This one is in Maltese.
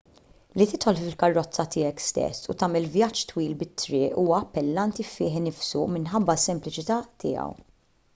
li tidħol fil-karozza tiegħek stess u tagħmel vjaġġ twil bit-triq huwa appellanti fih innifsu minħabba s-sempliċità tiegħu